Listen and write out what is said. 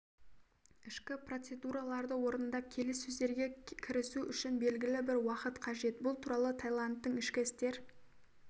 ішкі процедураларды орындап келіссөздерге кірісу үшін белгілі бір уақыт қажет бұл туралы таиландтың ішкі істер